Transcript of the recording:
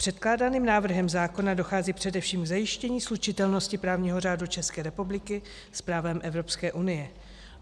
Předkládaným návrhem zákona dochází především k zajištění slučitelnosti právního řádu České republiky s právem Evropské unie.